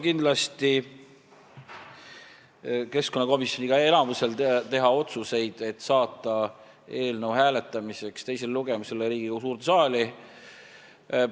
Kindlasti on keskkonnakomisjoni enamusel võimalik teha otsus, et saata eelnõu teisele lugemisele ja hääletamisele Riigikogu suurde saali.